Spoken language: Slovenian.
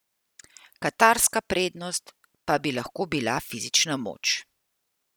Katarska prednost pa bi lahko bila fizična moč.